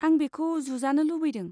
आं बेखौ जुजानो लुबैदों।